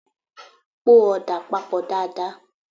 Po ọ̀dà papọ̀ dáa dáa!